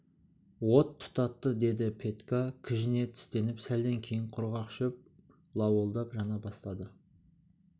от тұтатты деді петька кіжіне тістеніп сәлден кейін құрғақ шөп лауылдап жана бастады